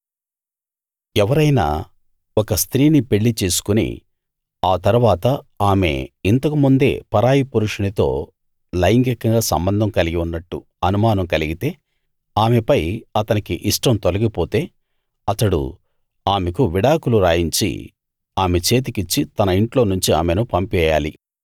ఎవరైనా ఒక స్త్రీని పెళ్ళి చేసుకుని ఆ తరువాత ఆమె ఇంతకు ముందే పరాయి పురుషునితో లైంగికంగా సంబంధం కలిగి ఉన్నట్టు అనుమానం కలిగితే ఆమెపై అతనికి ఇష్టం తొలగిపోతే అతడు ఆమెకు విడాకులు రాయించి ఆమె చేతికిచ్చి తన ఇంట్లోనుంచి ఆమెను పంపేయాలి